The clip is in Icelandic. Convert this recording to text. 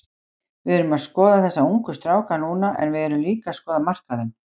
Við erum að skoða þessa ungu stráka núna en við erum líka að skoða markaðinn.